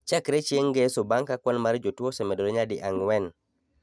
chakre chieng' ngeso bang' ka kwan mar tuo osemedore nyadi ang'wen